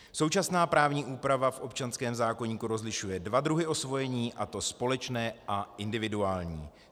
Současná právní úprava v občanském zákoníku rozlišuje dva druhy osvojení, a to společné a individuální.